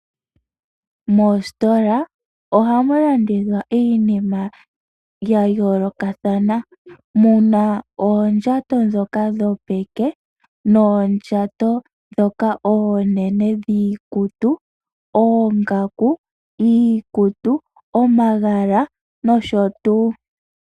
Moositola ohamu landithwa iinima ya yoolokathana. Muna oondjato ndhoka dhopeke ,noondjato ndhoka oonene dhiikutu, oongaku, iikutu, omagala nosho tuu.